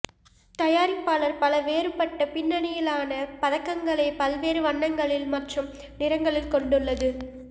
தயாரிப்பாளர் பல வேறுபட்ட பின்னணியிலான பதக்கங்களை பல்வேறு வண்ணங்களில் மற்றும் நிறங்களில் கொண்டுள்ளது